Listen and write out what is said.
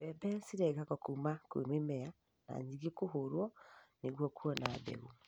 Mbembe cirengagwo kũma kwĩ mĩmera na nyingĩ kũhũrwo nĩguo kuona mbeũ.